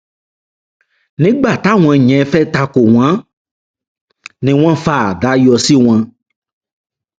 nígbà táwọn yẹn fẹẹ ta kò wọn ni wọn fa àdá yọ sí wọn